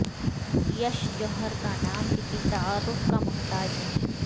یش جوہر کا نام کسی تعارف کا محتاج نہیں